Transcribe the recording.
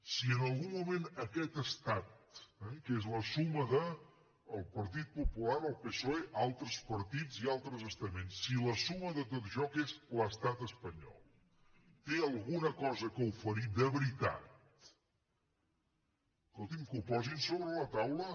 si en algun moment aquest estat que és la suma del partit popular el psoe altres partits i altres estaments si la suma de tot això que és l’estat espanyol té alguna cosa a oferir de veritat escolti’m que ho posin sobre la taula